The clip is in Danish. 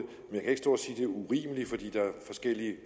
er urimeligt